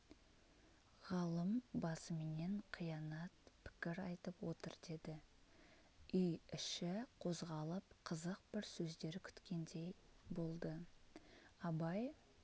ғалым басыменен қиянат пікір айтып отыр деді үй іші қозғалып қызық бір сөздер күткендей болды абай